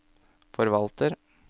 forvalter